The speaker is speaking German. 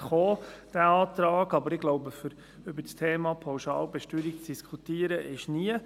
Aber ich denke, es ist nie der optimale Zeitpunkt, um das Thema Pauschalbesteuerung zu diskutieren.